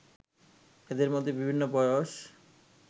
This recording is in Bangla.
এদের মধ্যে বিভিন্ন বয়স